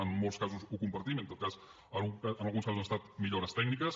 en molts casos ho compartim en tot cas en alguns casos han estat millores tècniques